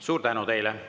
Suur tänu teile!